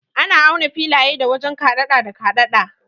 Ana auna filaye da wajen kaɗada da kaɗada.